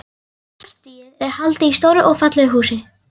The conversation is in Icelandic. Partíið er haldið í stóru og fallegu húsi.